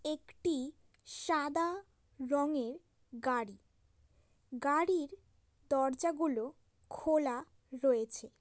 একটি সাদা রঙের গাড়ি। গাড়ির দরজাগুলো খোলা রয়েছে।